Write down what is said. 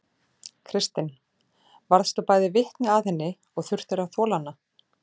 Kristinn: Varðstu bæði vitni að henni og þurftir að þola hana?